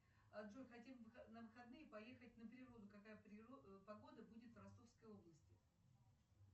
джой хотим на выходные поехать на природу какая погода будет в ростовской области